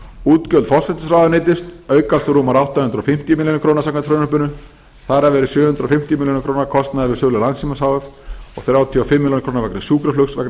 útgjöld forsætisráðuneytis aukast úr rúmar átta hundruð fimmtíu milljónir króna samkvæmt frumvarpinu þar af eru sjö hundruð fimmtíu milljónir króna kostnaður við sölu landssímans h f og þrjátíu og fimm milljónir króna vegna sjúkraflugs vegna